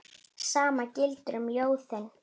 Sama gildir um ljóðið.